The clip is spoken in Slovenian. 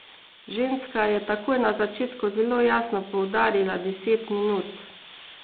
Ženska je takoj na začetku zelo jasno poudarila deset minut.